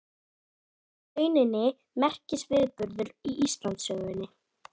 Þetta var í rauninni merkisviðburður í Íslandssögunni.